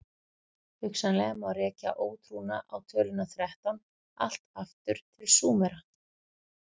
hugsanlega má rekja ótrúna á töluna þrettán allt aftur til súmera